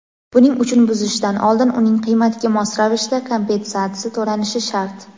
buning uchun buzishdan oldin uning qiymatiga mos ravishda kompensatsiya toʼlanishi shart.